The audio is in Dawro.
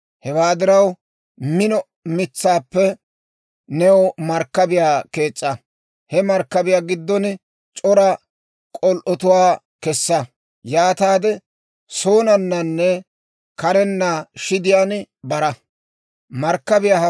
Hewaa diraw, mino mitsaappe new markkabiyaa kees's'a; he markkabiyaa giddon c'ora k'ol"otuwaa kessa; yaataade soonnanne karenna shidiyaan bara. Noha Markkabiyaa